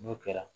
N'o kɛra